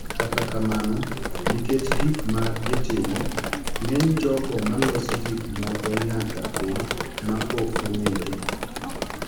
Kata kamano, nikech gik ma gitimo, ng'eny jogo ma loso gik moko nyaka bed ma ok ong’ere.